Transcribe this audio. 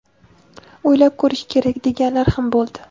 o‘ylab ko‘rish kerak deganlar ham bo‘ldi.